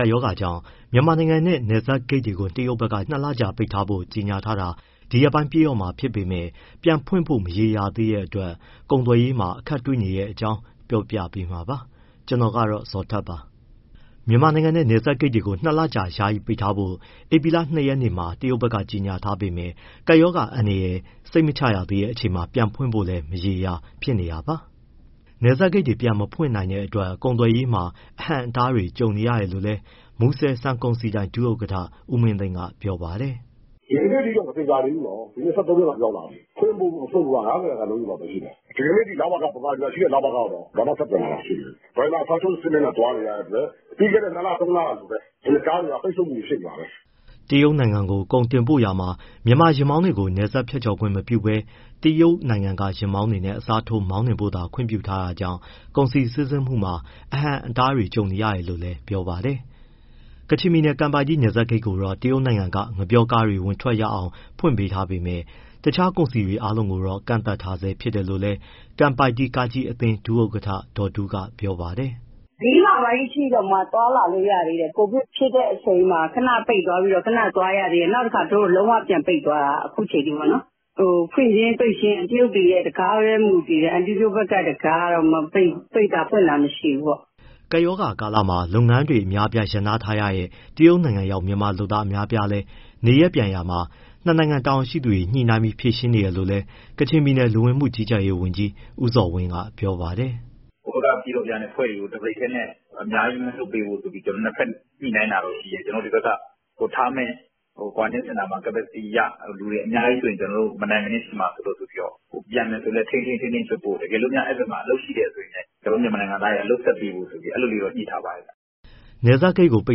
ကပ်ရောဂါကြောင့် မြန်မာနိုင်ငံနဲ့ နယ်စပ်ဂိတ်တွေကို တရုတ်ဘက်က၂ လကြာ ပိတ်ထားဖို့ ကြေညာထားတာ ဒီရက်ပိုင်းပြည့်တော့မှာဖြစ်ပေမဲ့ ပြန်ဖွင့်ဖို့ မရေရာသေးတဲ့အတွက် ကုန်သွယ်ရေးမှာ အခက်တွေ့နေရတဲ့အကြောင်း ကို ဇော်ထက်ပြောပြပေးမှာပါ။ မြန်မာနိုင်ငံနဲ့ နယ်စပ်ဂိတ်တွေကို ၂ လကြာ ယာယီပိတ်ထားဖို့ ဧပြီလ ၂ ရက်နေ့မှာ တရုတ်ဘက်က ကြေညာထားပေမဲ့၊ ကပ်ရောဂါ အန္တရာယ် စိတ်မချရသေးချိန်မှာ ပြန်ဖွင့်ဖို့လည်း မရေမရာ ဖြစ်နေတာပါ။ နယ်စပ်ဂိတ်တွေ ပြန်မဖွင့်နိုင်တဲ့အတွက် ကုန်သွယ်မှုတွေမှာ အဟန့်အတားတွေ ကြုံနေရတယ်လို့လည်း မူဆယ် ဆန်ကုန်စည်ဒိုင် ဒုဥက္ကဋ္ဌ ဦးမင်းသိန်းက ပြောပါတယ်။ “ ဒီကနေ့အထိတော့ မသေချာသေးဘူးနော်၊ ဒီနေ့ ၁၃ ရက်တောင်ရောက်လာပြီ၊ ဖွင့်ဖို့ မဖွင့်ဖို့ဆိုတာ ၅၀ ရာခိုင်နှုန်းလောက်ပဲရှိတယ်။ ဒီနေ့အထိ ဗမာပြည်မှာရှိတဲ့ ‘ လဝက’ တောင် ဘာမှဆက်သွယ် လာတာမရှိဘူး။ ဒရိုင်ဘာအစားထိုးစနစ်နဲ့ သွားနေရတဲ့အတွက် ပြီးခဲ့တဲ့ ၂လ၊ ၃လ ကလိုပဲ ကားတွေက ပိတ်ဆို့မှုတွေ ဖြစ်နေတာပဲ။” တရုတ်နိုင်ငံကို ကုန်တင်ပို့ရာမှာ မြန်မာယာဉ်မောင်းတွေကို နယ်စပ်ဖြတ်ကျော် ဝင်ခွင့်မပြုဘဲ တရုတ်နိုင်ငံက ယာဉ်မောင်းတွေနဲ့ အစားထိုးမောင်းနှင်ဖို့သာ ခွင့်ပြုထားတာကြောင့် ကုန်စည်စီးဆင်းမှုမှာ အဟန့်အတားတွေ ကြုံနေရတယ်လို့လည်းပြောပါတယ်။ ကချင်ပြည်နယ် ကန်ပိုက်တီးနယ်စပ်ဂိတ်ကိုတော့ တရုတ်နိုင်ငံက ငှက်ပျောကားတွေ ဝင်ထွက်ခွင့်ရအောင် ဖွင့်ပေးထားပေမဲ့ တခြားကုန်စည်တွေ အားလုံးကိုတော့ ကန့်သတ်ထားဆဲ ဖြစ်တယ်လို့လည်း ကန်ပိုက်တီးကားကြီးအသင်း ဒုဥက္ကဋ္ဌ ဒေါ်တူးက ပြောပါတယ်။ “ ၄ လပိုင်းအထိတောင် သွားလာလို့ရသေးတယ်၊ COVID ဖြစ်တဲ့အချိန်မှာ ခဏပိတ်သွားပြီးတော့၊ ခဏသွားရသေးတယ်။ နောက် လုံးဝပြန်ပိတ်သွားတာ အခုအချိန်အထိပေါ့။ ဖွင့်ခြင်း ပိတ်ခြင်းဆိုတာ တရုတ်တွေရဲ့ တံခါးပဲ မူတည်တယ်၊ အန်တီတို့ဘက်က တံခါးကတော့ မပိတ်ဘူး၊ ပိတ်တာ ဖွင့်တာ မရှိဘူးပေါ့။” ကပ်ရောဂါကာလမှာ လုပ်ငန်းတွေ အများအပြား ရပ်နားထားရတဲ့ တရုတ်နိုင်ငံရောက် မြန်မာအလုပ်သမားအများအပြားလည်း နေရပ်ပြန်နေရာမှာ ၂ နိုင်ငံတာဝန်ရှိသူတွေ ညှိနှိုင်းပြီး ဖြေရှင်းနေတယ်လို့လည်း ကချင်ပြည်နယ် လူဝင်မှုကြီးကြပ်ရေးဝန်ကြီး ဦးဇော်ဝင်းက ပြောပါတယ်။ “ ဟိုဘက်က ပြန်တော်ပြန်အဖွဲ့တွေကို တဘရိတ်တည်းနဲ့ အများကြီးမလွှတ်ပေးဖို့ဆိုပြီး နှစ်ဘက်ညှိနှိုင်းတာတော့ရှိတယ်။ ကျနော်တို့ ဒီဘက်ကထားမယ့် quarantine center မှာ capacity အရ လူတွေအများကြီးဆိုရင် မနိုင်မနင်းဖြစ်မှာစိုးလို့ ပြန်မယ်ဆိုလည်း ထိန်းထိန်းပြီးလွှတ်ဖို့၊ တကယ်လို့ အဲဒီ ( တရုတ်) ဘက်မှာ အလုပ်ရှိတယ်ဆိုရင်လည်း ကျနော်တို့ မြန်မာနိုင်ငံသားတွေကို အလုပ်စပ်ပေးဖို့ဆိုပြီး အဲလိုလေးတော့ ညှိထားပါတယ်။” နယ်စပ်ဂိတ်ကို ပိ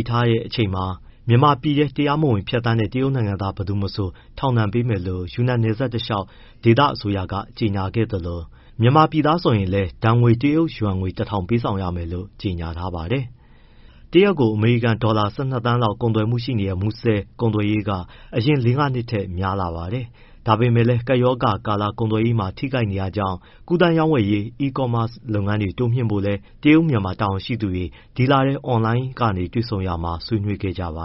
တ်ထားတဲ့အချိန်မှာ မြန်မာပြည်ထဲ တရားမဝင်ဖြတ်သန်းတဲ့ တရုတ်နိုင်ငံသား ဘယ်သူမဆို ထောင်ဒဏ်ပေးမယ်လို့ ယူနန်နယ်စပ်တလျှောက် ဒေသအစိုးရက ကြေညာခဲ့သလို၊ မြန်မာပြည်သားဆိုရင်လည်း ဒဏ်ငွေ တရုတ်ယွမ် ၁၀၀၀ ပေးဆောင်ရမယ်လို့ ကြေညာထားပါတယ်။ တရက်ကို အမေရိကန်ဒေါ်လာ ၁၂ သန်းလောက်ကုန်သွယ်မှုရှိနေတဲ့ မူဆယ်ကုယ်သွယ်ရေးက အရင်လေးငါးနှစ်ကထက် များလာပါတယ်။ ဒါပေမဲ့လည်း ကပ်ရောဂါကာလ ကုန်သွယ်မှုတွေ ထိခိုက်နေတာကြောင့် ကူးသန်းရောင်းဝယ်ရေး e-commerce လုပ်ငန်းတွေ တိုးမြှင့်ဖို့လည်း တရုတ်-မြန်မာ တာဝန်ရှိသူတွေ ဒီလထဲ အွန်လိုင်းကနေတွေ့ဆုံရာမှာ ဆွေးနွေးခဲ့ကြပါ